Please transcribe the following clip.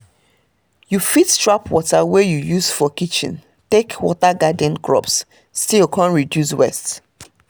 you fit trap water wey you use for kitchen take water garden crops still come reduce waste